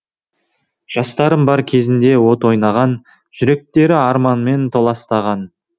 жастарым бар көзінде от ойнаған жүректері арманмен толастаған